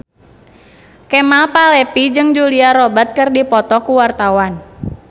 Kemal Palevi jeung Julia Robert keur dipoto ku wartawan